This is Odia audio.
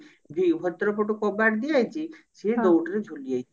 ବି ଭିତର ପଟୁ କବାଟ ଦିଆହେଇଛି ସିଏ ଦଉଡି ରେ ଝୁଲିଯାଇଛି